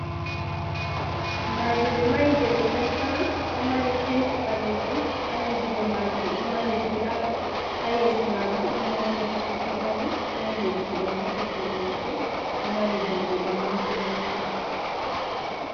Madi ɓe mahi je gidal sama ɗo mari penti ɓalejum ha dau majun ɗo mari glas, ha yeso majun ɗon mota titit ɗo dari, ɗon leddi ɓe rufi je lope, ɗo mari dammuɗe manga manga.